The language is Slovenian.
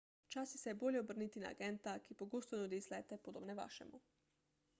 včasih se je bolje obrniti na agenta ki pogosto nudi izlete podobne vašemu